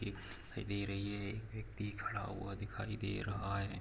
एक दिखाई दे रही है एक व्यक्ति खड़ा हुआ दिखाई दे रहा है।